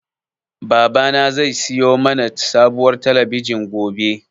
Babana zai siyo mana sabuwar talabijin gobe.